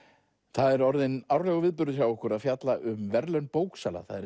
það er orðinn árlegur viðburður hjá okkur að fjalla um verðlaun bóksala það eru